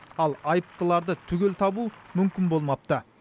ал айыптыларды түгел табу мүмкін болмапты